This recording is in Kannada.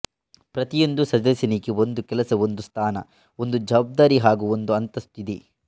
ಪ್ರತಿಯೊಂದು ಸದಸ್ಯನಿಗೆ ಒಂದು ಕೆಲಸ ಒಂದು ಸ್ಥಾನ ಒಂದು ಜವಾಬ್ದಾರಿ ಹಾಗು ಒಂದು ಅಂತಸ್ತು ಇದೆ